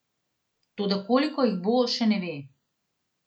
Toda koliko jih bo, še ne ve.